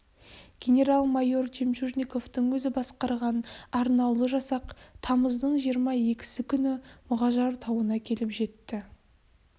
генерал-майор жемчужниковтың өзі басқарған арнаулы жасақ тамыздың жиырма екісі күні мұғажар тауына келіп жетті